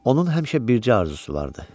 Onun həmişə bircə arzusu vardı.